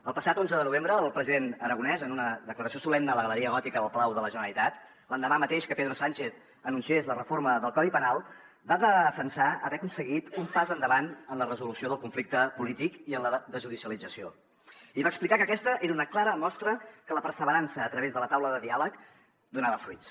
el passat onze de novembre el president aragonès en una declaració solemne a la galeria gòtica del palau de la generalitat l’endemà mateix que pedro sánchez anunciés la reforma del codi penal va defensar haver aconseguit un pas endavant en la resolució del conflicte polític i en la desjudicialització i va explicar que aquesta era una clara mostra que la perseverança a través de la taula de diàleg donava fruits